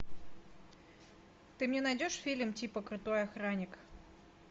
ты мне найдешь фильм типа крутой охранник